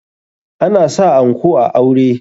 Ana sa anko a aure.